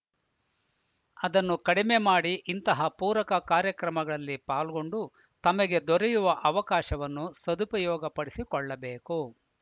ಅದನ್ನು ಕಡಿಮೆ ಮಾಡಿ ಇಂತಹ ಪೂರಕ ಕಾರ್ಯಕ್ರಮಗಳಲ್ಲಿ ಪಾಲ್ಗೊಂಡು ತಮಗೆ ದೊರೆಯುವ ಅವಕಾಶವನ್ನು ಸದುಪಯೋಗಪಡಿಸಿಕೊಳ್ಳಬೇಕು